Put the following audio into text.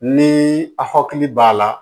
Ni a hakili b'a la